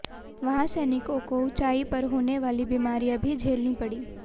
वहां सैनिकों को ऊंचाई पर होने वाली बीमारियां भी झेलनी पड़ीं